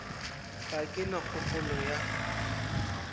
ga ke na kgopolo ya